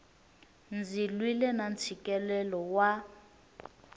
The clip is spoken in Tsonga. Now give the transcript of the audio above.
ndzi lwile na ntshikelelo wa